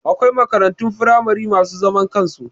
Akwai makarantun firamare masu zaman kansu